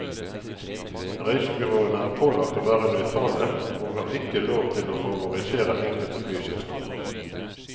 Reisebyråene er pålagt å være nøytrale, og har ikke lov til å favorisere enkelte flyselskaper.